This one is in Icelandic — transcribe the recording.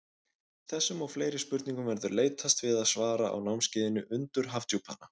Þessum og fleiri spurningum verður leitast við að svara á námskeiðinu Undur Hafdjúpanna.